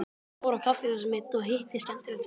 Ég fór á kaffihúsið mitt og hitti skemmtilegt fólk.